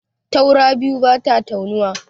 Taura biyu bata taunuwa.